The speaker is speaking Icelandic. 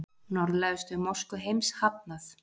Norðlægustu mosku heims hafnað